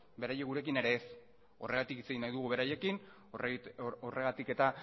beraiek gurekin ere ez horregatik hitz egin nahi dugu beraiekin horregatik